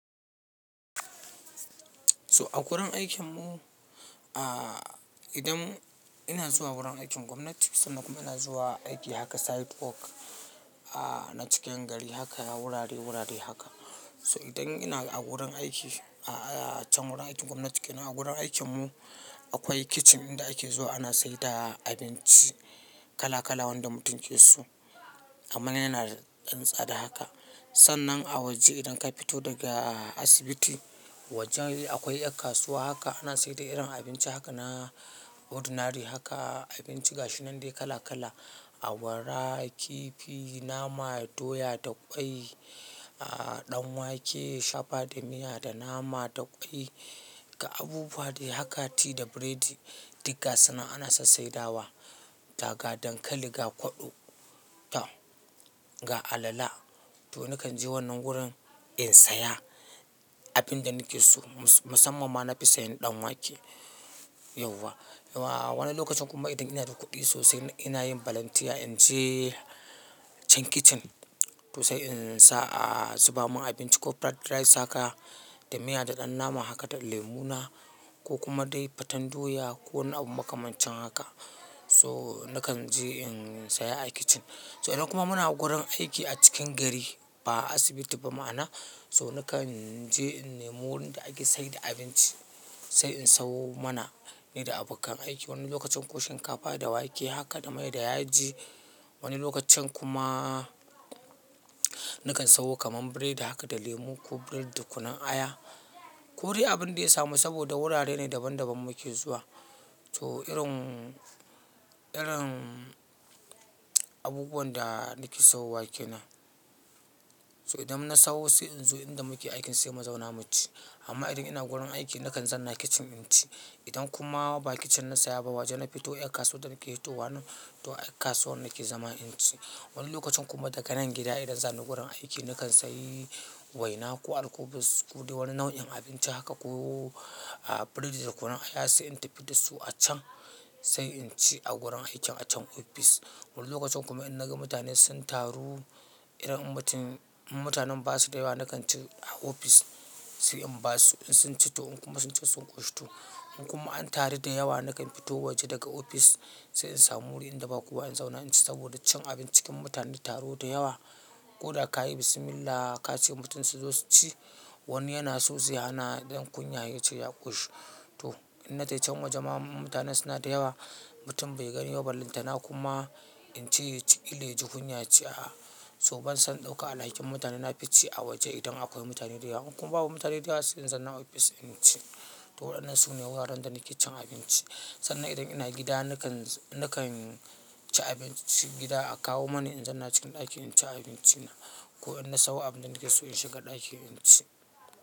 So a wurin aikin mu, ah idan ina zuwa wurin aikin gwamnati sannan kuma ina zuwa aiki haka sidework ah na cikin gari haka wurare wurare haka. So idan ina a gurin aiki a can wurin aikin gwamnati kenan, a gurin aikin mu akwai kitchen inda ake zuwa ana saida abinci kala kala wanda mutum yake so. Amman yana da ɗan tsada haka. Sannan a waje idan ka fito daga asibiti wajen akwai ƴar kasuwa haka ana saida irin abinci haka na ordinary haka abinci gashi nan dai kala kala. Awara, kifi, nama, doya da ƙwai, ah ɗan wake, shafa da miya da nama da ƙwai, ga abubuwa dai hakati da biredi, digga sunan ana sassai dawa. Daga dankali, ga kwaɗo, ta ga alala. To nakan je wannan gurin in saya abinda nake so. Musamman ma na fi sayan ɗan wake yauwa. Wani lokacin kuma idan ina da kuɗi sosai ina yin volunteer in je can kitchen to sai in sa zu bamun abinci ko fried rice haka da miya da ɗan nama haka da lemuna ko kuma dai faten doya ko wani abu makamancin haka. So nakan je in saya a kitchen. So idan kuma muna gurin aiki a cikin gari ba asibiti ba ma'ana so nakan je in nemo wurin da ake saida abinci sai in sawo mana ni da abokan aiki. Wani lokacin koshin kafada wake haka da mai da yaji. Wani lokacin kuma nakan sayo kaman biredi haka da lemu ko biredi da kunun aya ko dai abinda ya samu saboda wurare ne daban daban muke zuwa. So irin, irin abubuwan da nake so wake nan. So idan na sayo sai in zo inda muke aikin sai mu zauna mu ci amma idan ina gurin aiki nakan zanna kitchen in ci. Idan kuma ba kitchen na saya ba waje na fito ƴar kasuwar da nake fito wannan to ƴar kasuwar nake zama in ci. Wani lokacin kuma daga nan gida idan zani gurin aiki nakan sayi waina ko alkubus kodai wani nau'in abinci haka ko biredi da kunun aya sai in tafi da su a can sai in ci a gurin aikin a can ofis. Wani lokacin kuma in naga mutane sun taru, irin mutum inmutanen basu da yawa nakan ci a ofis sai in ba su in sun ci to in kuma sun ci sun ƙoshito. In kuma an taru da yawa nakan fito waje daga ofis sai in samu wurin inda ba kuwa in zauna in ci saboda cin abinci cikin mutane da taro da yawa. Ko da ka yi bismillah ka ce mutum su zo su ci, wani yana sozai hana dan kunya ya ce ya ƙushto. Inna taican waje ma mutanen suna da yawa mutum bai gani ba ballanta na kuma in ceya ciki, kilaji kunya yace a. So ban son ɗauka alhakin mutane na fi ci a waje idan akwai mutane da yawa. In kuma babu mutane da yawa sai in zanna ofis in ci. To waɗannan su ne wuraren da nake cin abinci. Sannan idan ina gida nakan, nakan ci abincin gida a kawo mani in zanna cikin ɗaki in ci abinci na ko idan na sayo abinda nake so in shiga ɗaki in ci.